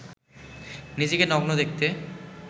নিজেকে নগ্ন দেখতে